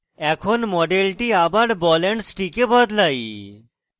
এখন মডেলটি আবার ball and stick এ বদলাই